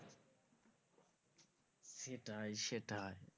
সেটাই সেটাই।